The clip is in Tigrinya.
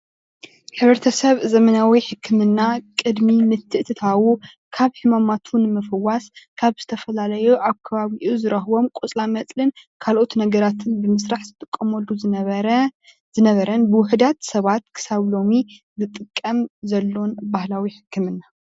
ሕ/ሰብ ዘመናዊ ሕክምና ቅድሚ ምትእትታዉ ካብ ሕማማት ንምፍዋስ ካብ ዝተፈላለዩ ኣብ ከባቢኡ ኣብ ዝርክቦም ቆፅላ መፅልን ካልኦት ነገራትን ብምስራሕ ዝጥቀመሉ ዝነበረን ብውሕዳት ሰባት ክሳብ ሎሚ ዝጥቀም ዘሎን ባህላዊ ሕክምና